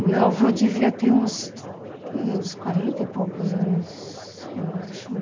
O meu avô devia ter uns uns quarenta e poucos anos, eu acho.